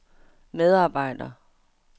medarbejder